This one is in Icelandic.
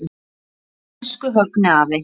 Elsku Högni afi.